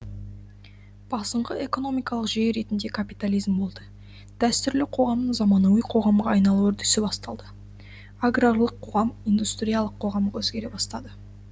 басыңқы экономикалық жүйе ретінде капитализм болды дәстүрлі қоғамның заманауи қоғамға айналу үрдісі басталды аграрлық қоғам индустриялық қоғамға өзгере бастады